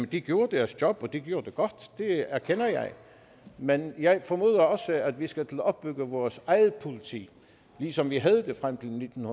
de gjorde deres job og de gjorde det godt det erkender jeg men jeg formoder også at vi skal til at opbygge vores eget politi ligesom vi havde frem til nitten